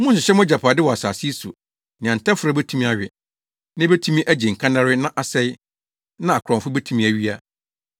“Monnhyehyɛ mo agyapade wɔ asase yi so, nea ntɛferɛw betumi awe, na ebetumi agye nkannare na asɛe, na akorɔmfo betumi awia.